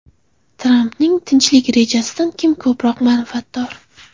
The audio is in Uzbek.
Trampning tinchlik rejasidan kim ko‘proq manfaatdor?